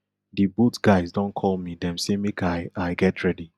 di boat guys don call me dem say make i i get ready